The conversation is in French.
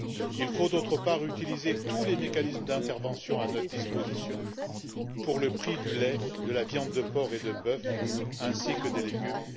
Il faut, d'autre part, utiliser tous les mécanismes d'intervention à notre disposition pour le prix du lait, de la viande de porc et de bœuf ainsi que des légumes.